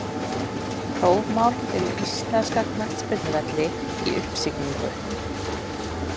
Prófmál fyrir íslenska knattspyrnuvelli í uppsiglingu?